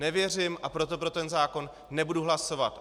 Nevěřím, a proto pro ten zákon nebudu hlasovat.